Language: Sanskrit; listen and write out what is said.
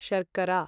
शर्करा